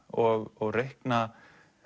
og reikna